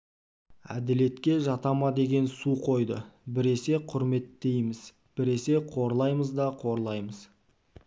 әделетке жата ма деген сұ қойды біресе құрметтейміз біресе қорлаймыз да қорлаймыз